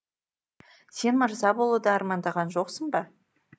сен мырза болуды армандаған жоқсың ба